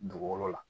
Dugukolo la